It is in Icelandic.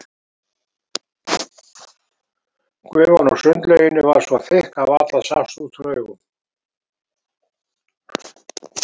Gufan úr sundlauginni var svo þykk að varla sást út úr augum.